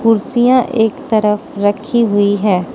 कुर्सियां एक तरफ रखी हुई हैं।